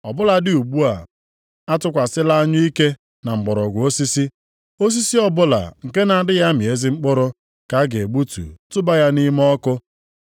Ọ bụladị ugbu a, atụkwasịla anyụike na mgbọrọgwụ osisi, osisi ọbụla nke na-adịghị amị ezi mkpụrụ ka a ga-egbutu tụba ya nʼime ọkụ.”